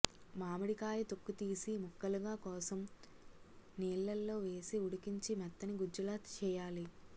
మామిడికాయ తొక్కు తీసి ముక్కలుగా కోసం నీళ్లలో వేసి ఉడికించి మెత్తని గుజ్జులా చేయాలి